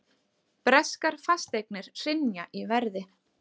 Breskar fasteignir hrynja í verði